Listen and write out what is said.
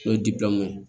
N'o ye ye